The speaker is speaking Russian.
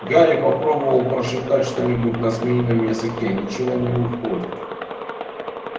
гарри попробовал прошептать что-нибудь на змеином языке ничего не выходит